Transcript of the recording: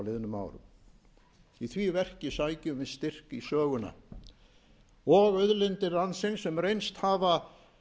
liðnum árum í því verki sækjum við styrk í söguna og auðlindir landsins sem reynst hafa